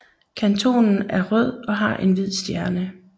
Kantonen er rød og har en hvid stjerne